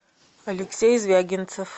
алексей звягинцев